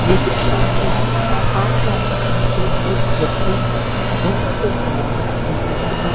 ये दृश्य एक पार्क का है जहां पे एक व्यक्ति घूमने के लिए आया है अपने दोस्त के साथ।